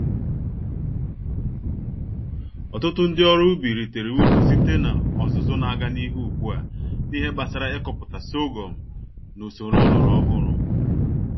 Ọtụtụ ndị ọrụ ubi ritere uru site n'ọzụzụ n'aga n'ihu ùgbúà, n'ihe gbásárá ịkọpụta sorghum nusoro ọlọrọ ọhụrụ